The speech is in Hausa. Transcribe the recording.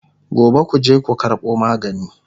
Gobe kuje ku karɓo magani!